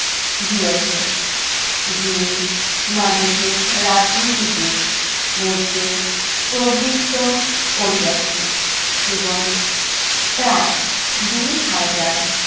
দিয়াছে। যিনি মানুষের রাজনীতি দিয়ে মধ্যে প্রবৃত্ত করিয়াছে এবং প্রায় দুই হাজার